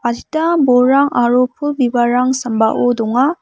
adita bolrang aro pul bibalrang sambao donga.